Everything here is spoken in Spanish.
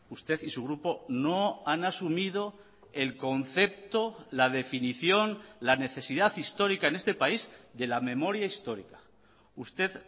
usted y su grupo no han asumido el concepto la definición la necesidad histórica en este país de la memoria histórica usted